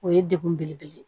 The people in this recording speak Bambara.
O ye degun belebele ye